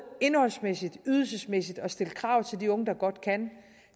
indholdsmæssige og ydelsesmæssige krav til de unge der godt kan